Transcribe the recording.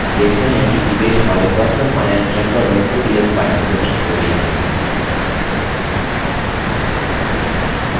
आप देखते हैं कि image हमारे personalfinancetracker ods file में प्रविष्ट हो गयी है